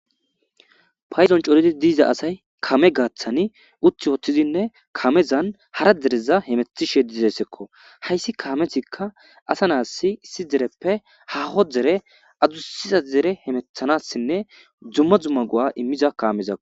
Paydon coriza asay kame gathan uti utidinne kamezan hara dereza hemetishe dizaysakko .hays Kamezika ada naytas issi dereppe haho dere , adusa dere hamutanasine dumma dumma go'a imza Kamezako.